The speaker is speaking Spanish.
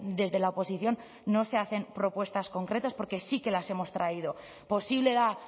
desde la oposición no se hacen propuestas concretas porque sí que las hemos traído posible da